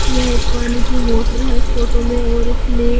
यह एक पानी की मोटर हैइस फोटो में और इसमें--